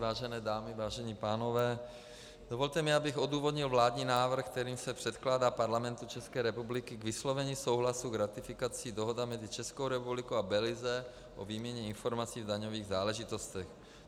Vážené dámy, vážení pánové, dovolte mi, abych odůvodnil vládní návrh, kterým se předkládá Parlamentu České republiky k vyslovení souhlasu s ratifikací Dohoda mezi Českou republikou a Belize o výměně informací v daňových záležitostech.